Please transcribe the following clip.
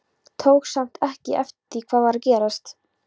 Tók samt ekki eftir því hvað var að gerast.